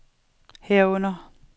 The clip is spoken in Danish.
herunder